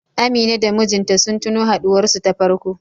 Amina da mijinta sun tuno haɗuwar su ta farko.